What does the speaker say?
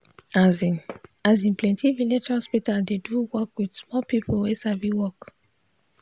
asin asin plenti village hospital dey do work with small people wey sabi work.